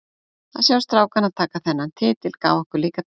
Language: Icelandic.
Að sjá strákana taka þennan titil gaf okkur líka extra.